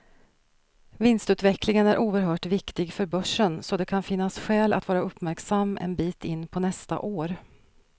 Vinstutvecklingen är oerhört viktig för börsen, så det kan finnas skäl att vara uppmärksam en bit in på nästa år.